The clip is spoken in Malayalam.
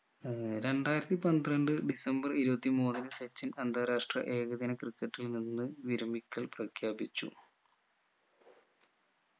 ഏർ രണ്ടായിരത്തി പന്ത്രണ്ട് ഡിസംബർ ഇരുപത്തി മൂന്നിന് സച്ചിൻ അന്താരാഷ്ട്ര ഏകദിന ക്രിക്കറ്റിൽ നിന്ന് വിരമിക്കൽ പ്രഖ്യാപിച്ചു